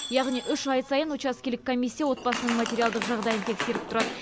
яғни үш ай сайын учаскелік комиссия отбасының материалдық жағдайын тексеріп тұрады